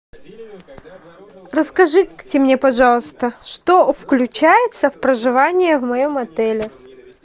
расскажите мне пожалуйста что включается в проживание в моем отеле